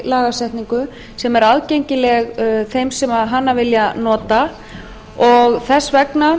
lagasetningu sem er aðgengileg þeim sem hana vilja nota og þess vegna